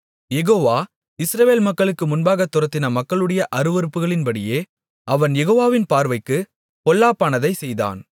Jehovah Israel மக்களுக்கு முன்பாகத் துரத்தின மக்களுடைய அருவருப்புகளின்படியே அவன் யெகோவாவின் பார்வைக்குப் பொல்லாப்பானதைச் செய்தான்